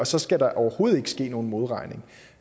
så skal der overhovedet ikke ske nogen modregning